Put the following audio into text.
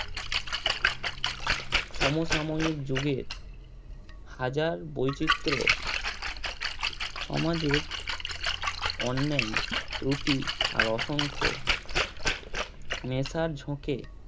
সমসাময়িক যুগে হাজার বৈচিত্র সমাজের অন্যায় ত্রুটি আর অসংখ্য নেশার ঝোঁকে